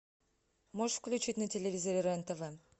можешь включить на телевизоре рен тв